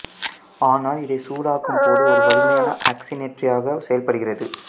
ஆனால் இதைச் சூடாக்கும் போது ஒரு வலிமையான ஆக்சிசனேற்றியாகச் செயல்படுகிறது